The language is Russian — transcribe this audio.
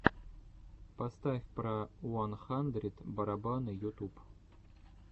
поставь про уан хандрид барабаны ютуб